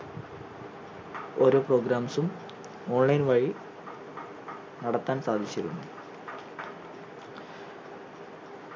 ഓരോ programs ഉം online വഴി നടത്താൻ സാധിച്ചിരുന്നു